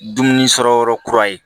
Dumuni sɔrɔ yɔrɔ kura ye